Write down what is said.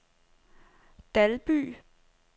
Dalby